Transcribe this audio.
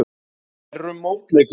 Þær eru mótleikur minn.